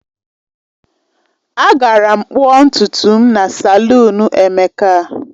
Agara m kpụọ ntutu m na salụnu Emeka.